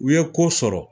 U ye ko sɔrɔ